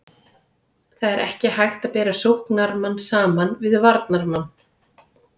Það er ekki hægt að bera sóknarmann saman við varnarmann.